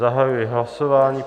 Zahajuji hlasování.